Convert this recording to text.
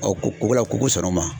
ko ko la ko ko sɔrɔn ma.